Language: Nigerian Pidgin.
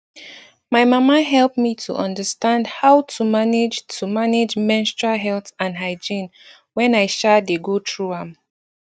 my mama help me to understand how to manage to manage menstrual health and hygiene wen i um dey go through am